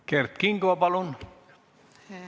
Kert Kingo, palun!